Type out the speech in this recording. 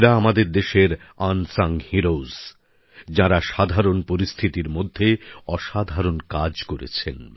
এঁরা আমাদের দেশের আনসাঙ হিরোজ তথা অনামী বীর যাঁরা সাধারণ পরিস্থিতির মধ্যেও অসাধারণ কাজ করেছেন